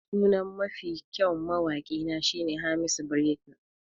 Sunan Mafi kyau mawaki na shine Hamisu Breaker.